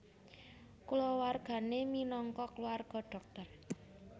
Kulawargane minangka kulawarga dhokter